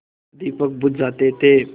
दीपक बुझ जाते थे